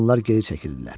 Onlar geri çəkildilər.